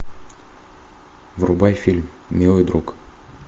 врубай фильм милый друг